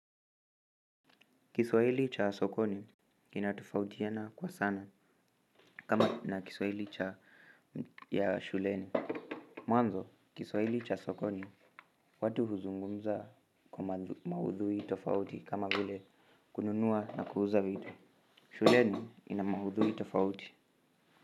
Kiswahili cha sokoni kina tofautiana kwa sana kama na kiswahili cha shuleni. Mwanzo kiswaili cha sokoni watu huzungumza kwa maudhui tofauti kama vile kununua na kuuza vidltu Shuleni ina maudhui tofauti.